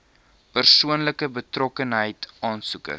persoonlike betrokkenheid aansoekers